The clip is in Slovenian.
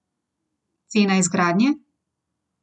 Cena izgradnje?